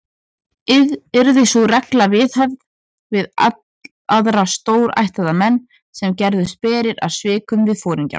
Yrði sú regla viðhöfð við aðra stórættaða menn, sem gerðust berir að svikum við foringjann.